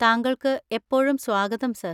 താങ്കൾക്ക് എപ്പോഴും സ്വാഗതം, സർ.